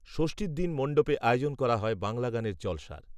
ষষ্ঠীর দিন মণ্ডপে আয়োজন করা হয় বাংলা গানের জলসার